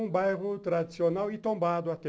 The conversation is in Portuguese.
Um bairro tradicional e tombado até.